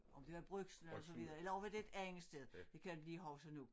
Om det var Brugsen eller så videre eller over ved et andet sted det kan jeg ikke lige huske nu